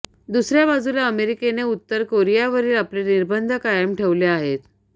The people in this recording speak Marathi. दुसऱ्या बाजूला अमेरिकेने उत्तर कोरियावरील आपले निर्बंध कायम ठेवले आहेत